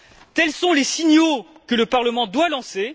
Tels sont les signaux que le Parlement doit lancer.